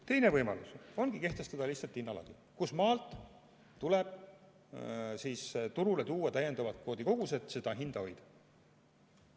Teine võimalus ongi kehtestada lihtsalt hinnalagi, kustmaalt tuleb turule tuua täiendavad kvoodikogused, et seda hinda hoida.